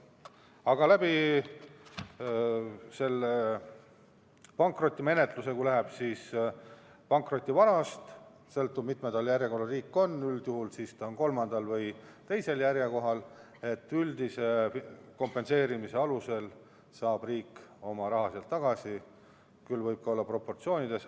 Aga pankrotimenetluses sõltub see sellest, mitmendal kohal järjekorras riik on, üldjuhul on ta kolmandal või teisel kohal, üldise kompenseerimise alusel saab riik oma raha sealt tagasi, küll võib-olla teatud proportsioonis.